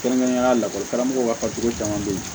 Kɛrɛnkɛrɛnnenya lakɔli karamɔgɔw ka fatogo caman beyi